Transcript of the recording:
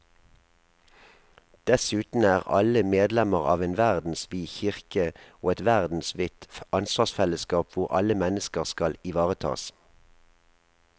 Dessuten er alle medlemmer av en verdensvid kirke og et verdensvidt ansvarsfellesskap hvor alle mennesker skal ivaretas.